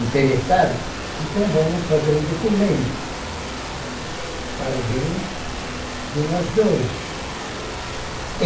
interessado, então vamos trazer um documento para o bem de nós dois.